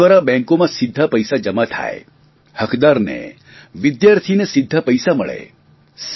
આધાર દ્વારા બેંકોમાં સીધા પૈસા જમા થાય હકદારને વિદ્યાર્થીને સીધા પૈસા મળે